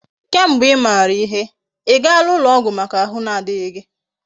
Ke mgbe imara ihe, igaala ulo ogwu Maka ahu na adighi gi?